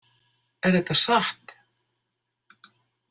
Er þetta satt?